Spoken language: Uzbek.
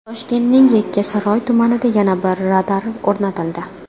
Toshkentning Yakkasaroy tumanida yana bir radar o‘rnatildi.